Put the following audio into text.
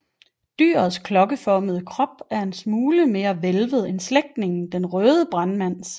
Dyrets klokkeformede krop er en smule mere hvælvet end slægtningen den røde brandmands